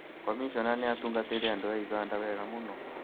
Komishona nĩ atungatĩire andũ a ũganda wega mũno